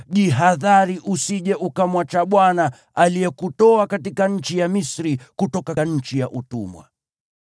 jihadhari usije ukamwacha Bwana , aliyekutoa katika nchi ya Misri, kutoka nchi ya utumwa.